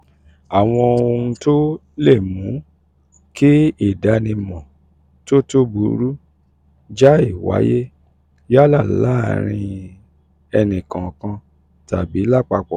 àwọn ohun tó um lè mú um kí ìdanimo um tó tó burú jáì wáyé yálà lẹ́nì kọ̀ọ̀kan tàbí lápapọ̀